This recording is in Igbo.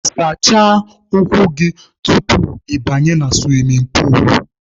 Sachaa ụkwụ gị tupu ị banye na suwimin puulu!.